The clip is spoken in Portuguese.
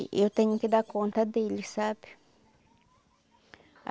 E eu tenho que dar conta dele, sabe?